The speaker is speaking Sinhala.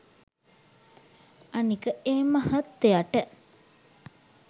අනික ඒ මහත්තයට